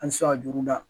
An ti se ka juru da